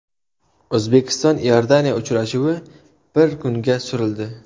O‘zbekiston Iordaniya uchrashuvi bir kunga surildi.